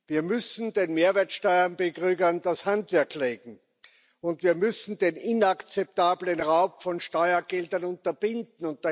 Wir müssen den Mehrwertsteuer Betrügern das Handwerk legen, und wir müssen den inakzeptablen Raub von Steuergeldern unterbinden.